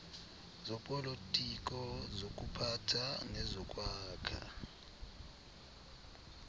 zopolitiko zokuphatha nezokwakha